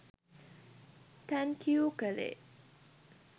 thank you කළේ